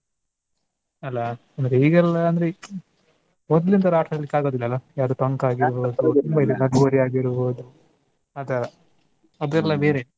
ಅಲ್ಲ ಅಂದ್ರೆ ಈಗೆಲ್ಲ ಅಂದ್ರೆ ಮೊದ್ಲಿನ್ ತರ ಆಟ ಆಡ್ಲಿಕ್ ಆಗೋದಿಲ್ಲಲ್ಲ. ಯಾವ್ದು ಟೊಂಕ ಆಗಿರ್ಬೋದು ತುಂಬಾ ಇದೆ ಲಗೋರಿ ಆಗಿರ್ಬೋದು ಆತರ ಅದೆಲ್ಲ ಬೇರೆ.